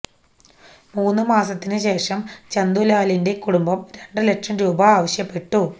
മൂന്നു മാസത്തിനു ശേഷം ചന്തുലാലിന്റെ കുടുംബം രണ്ടു ലക്ഷം രൂപ ആവശ്യപ്പെട്ടു